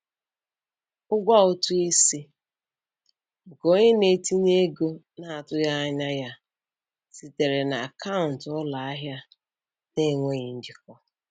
Ụgwọ ụtụ isi nke onye na-etinye ego na-atụghị anya ya sitere na akaụntụ ụlọ ahịa na-enweghị njikọ.